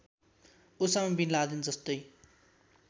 Osama bin लादेनजस्तै